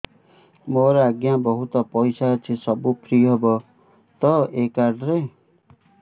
ମୋର ଆଜ୍ଞା ବହୁତ ପଇସା ଅଛି ସବୁ ଫ୍ରି ହବ ତ ଏ କାର୍ଡ ରେ